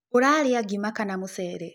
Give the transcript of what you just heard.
Ũraria ngima kana mũceere?